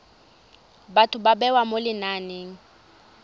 batho ba bewa mo lenaneng